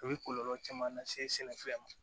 A bɛ kɔlɔlɔ caman lase sɛnɛfɛn ma